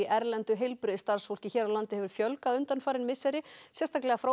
erlendu heilbrigðisstarfsfólki hér á landi hefur fjölgað undanfarin misseri sérstaklega frá